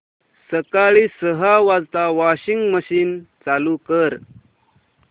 सकाळी सहा वाजता वॉशिंग मशीन चालू कर